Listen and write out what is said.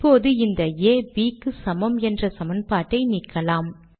இப்போது இந்த ஆ Bக்கு சமம் என்ற சமன்பாட்டை நீக்கலாம்